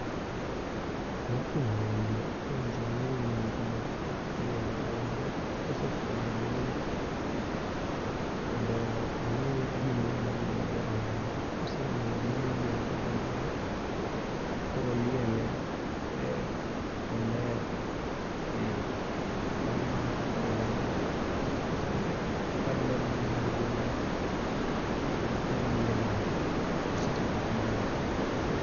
Mokwongo owinjo ong'i nengo mar lielo rombo. Kosefwenyo nengo mondo ong'i gimodwa lielo go rombo no. Koseng'e gimodwa lielo go rombo no, koro oliele kuma ler ehee . Bang mano to koro rombo kose kaluwore gi nengo ne gi kamo liele tosetieko tijno .